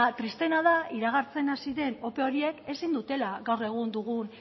tristeena da iragartzen hasi den ope horiek ezin dutela gaur egun dugun